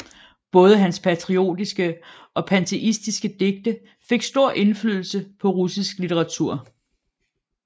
Både hans patriotiske og panteistiske digte fik stor indflydelse på russisk litteratur